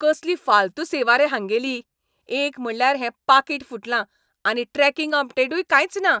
कसली फालतू सेवा रे हांगेली. एक म्हटल्यार हें पाकीट फुटलां आनी ट्रॅकिंग अपडेटूय कांयच ना.